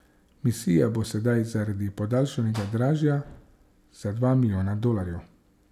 Misija bo sedaj zaradi podaljšanja dražja za dva milijona dolarjev.